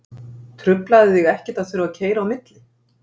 Truflaði þig ekkert að þurfa að keyra á milli?